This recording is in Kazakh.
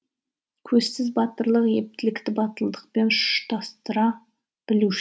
көзсіз батырлық ептілікті батылдықпен ұштастыра